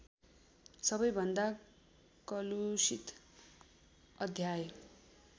सबैभन्दा कलुषित अध्याय